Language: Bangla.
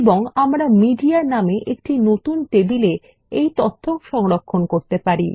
এবং আমরা মিডিয়া নামে একটি নতুন টেবিলে এই তথ্য সংরক্ষণ করতে পারি